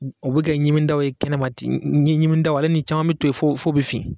O bi kɛ ɲimidaw ye kɛnɛma ten ɲi ɲimitaw ale ni caman bi to yen fo fo bɛ fin